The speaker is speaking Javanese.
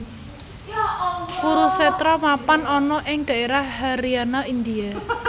Kurusetra mapan ana ing daérah Haryana India